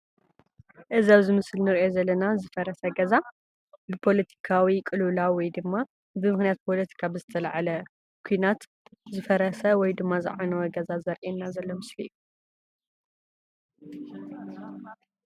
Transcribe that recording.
እዙይ ኣብ ምስሊ እንርእዮ ዘለና ዝፈረሰ ገዛ ብፖለቲካዊ ቅልውላው ወይ ድማ ብምክንያት ፖለቲካ ዝተለዓለ ኩናት ዝፈረሰ ወይ ድማ ዝዓነወ ገዛ ዘርኢየና ዘሎ ምስሊ እዩ።